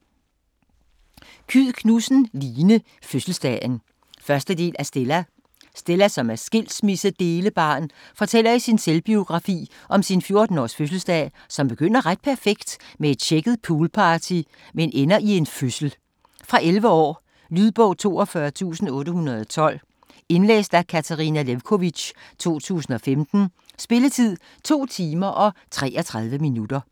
Kyed Knudsen, Line: Fødselsdagen 1. del af Stella. Stella, som er skilsmissedelebarn, fortæller i sin selvbiografi om sin 14-års fødselsdag, som begynder ret perfekt som et tjekket poolparty, men ender i en fødsel. Fra 11 år. Lydbog 42812 Indlæst af Katarina Lewkovitch, 2015. Spilletid: 2 timer, 33 minutter.